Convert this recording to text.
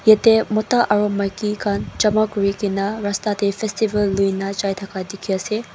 yati mota aro maikikan jama kurikina rasta teh festival luina jaitaka teki ase.